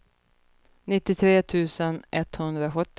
nittiotre tusen etthundrasjuttio